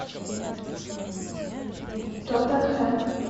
тоттенхэм